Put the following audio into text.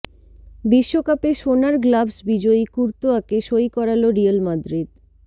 বিশ্বকাপে সোনার গ্লাভস বিজয়ী কুর্তোয়াকে সই করাল রিয়েল মাদ্রিদ